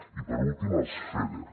i per últim els feder